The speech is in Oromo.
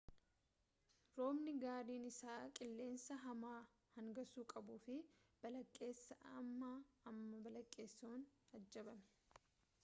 roobni gariin isaa qilleensa hamaa hangaasuu qabuufi balaqqeessa ammaa amma balaqqeessa'uun ajjabame